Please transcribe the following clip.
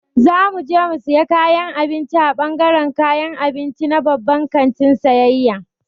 Za mu je mu sayi kayan abinci a ɓangaran kayan abinci na babban kantin sayayya.